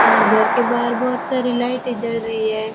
और घर के बाहर बहुत सारी लाइटें जल रही है।